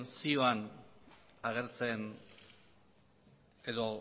zioan agertzen edo